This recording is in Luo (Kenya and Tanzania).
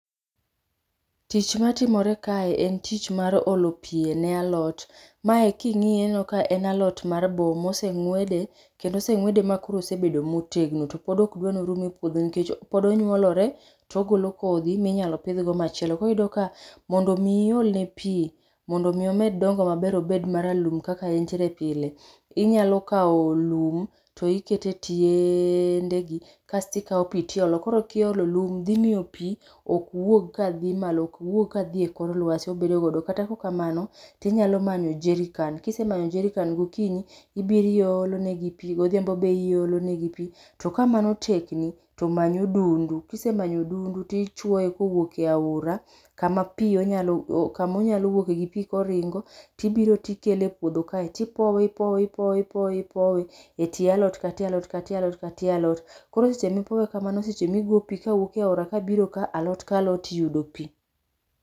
Tich matimore kae en tich mar olo pii ne alot. Mae king'iye tineno ka en alot mar boo mosengwede, kendo osengwede ma obedo ma otegno to pod okdwa mondo orum e puodho nikech pod onyuolore togolo kodhi ma inyalo pidh go machielo. Koro iyudo ka mondo mi iolne pii mondo mii omed dongo maber obed maralum kaka entiere pile inyalo kaw lum to iketo e tieeendegi kasto ikaw pii tiolo. Koro kiolo, lum dhi miyo pii ok wuog kadhi malo, ok wuog kadhi e kor lwasi. obedo godo. Kata kaok kamano tinyalo manyo [csjerrican, kise manyo jerrican gokinyi ibiro iolo negi pii, godhiambo bende iolonegi pii to ka mano tekni tomany odundu, kisemanyo odundu tichuoye kowuok e aora kama pii onyalo, kama onyalo wuoke gi pii koringo tibiro tikele e puodho kae tipowe, ipowe, ipowe, ipowe ,ipowe e tie alot, ka tie alot ka tie alot, , koro seche mipowe kamano seche ma igo pii kowuok e aora, alot ka alot yudo pii